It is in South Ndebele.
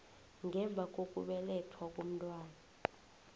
ngemva kokubelethwa komntwana